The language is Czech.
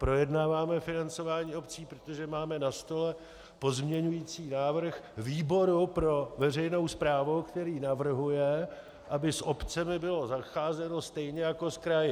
Projednáváme financování obcí, protože máme na stole pozměňující návrh výboru pro veřejnou správu, který navrhuje, aby s obcemi bylo zacházeno stejně jako s kraji.